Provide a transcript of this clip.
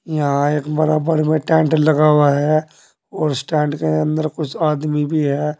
यहां एक बड़ा बड़े में टेंट लगा हुआ है और स्टैंड के अंदर कुछ आदमी भी है।